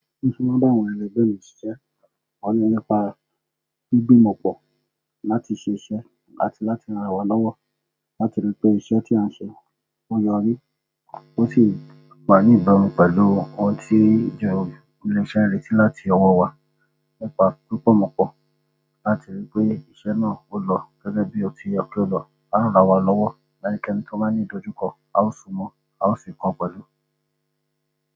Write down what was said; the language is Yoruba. Bí mo ṣe máa n bá àwọn ẹlẹgbẹ́ mi ṣiṣẹ́, nípa gbígbímọ̀pọ̀ láti ṣé iṣẹ́ àti láti ranra wa lọ́wọ́ láti rí pé iṣẹ́ tí a ń ṣe ó yọrí. Ó sì wà ní ìbámu pẹ̀lú ohun tí ilé-iṣẹ́ ń retí láti ọwọ́ wa nípa gbígbímọ̀pọ̀ láti rí pé iṣẹ́ náà ó lọ gẹ́gẹ́ bí ó ti yẹ kí ó lọ, a ó ranra wa lọ́wọ́ ẹnikẹ́ni tó bá a ní ìdojúkọ, a ó sún mọ́, a ó sì kọ pẹ̀lú.